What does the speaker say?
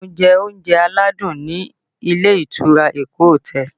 Mo jẹ oúnjẹ aládùn ni ilé ìtura Eko hotel